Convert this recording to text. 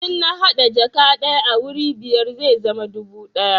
in an hada jaka daya a wuri biyar zai zama dubu ɗaya